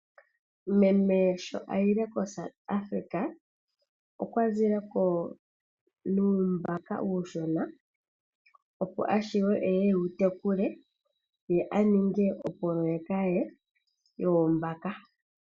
Meme sho ayile koSouth Africa , okwazileko nuumbaka uushona opo avule eye ewu tekule , ye aninge opoloyeka ye yoombaka.